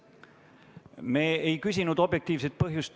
Me ei küsinud objektiivset põhjust.